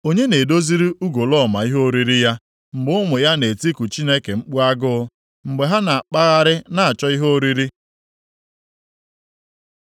Onye na-edoziri ugolọma ihe oriri ya, mgbe ụmụ ya na-etiku Chineke mkpu agụ, mgbe ha na-akpagharị na-achọ ihe oriri?